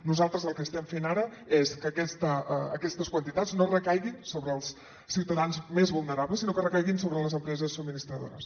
nosaltres el que estem fent ara és que aquestes quantitats no recaiguin sobre els ciutadans més vulnerables sinó que recaiguin sobre les empreses subministradores